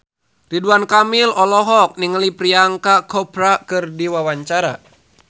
Ridwan Kamil olohok ningali Priyanka Chopra keur diwawancara